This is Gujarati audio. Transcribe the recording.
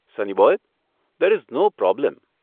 Sunny boy, there is no problem.